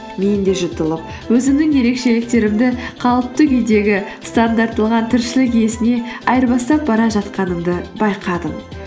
мен де жұтылып өзімнің ерекшеліктерімді қалыпты күйдегі тіршілік иесіне айырбастап бара жатқанымды байқадым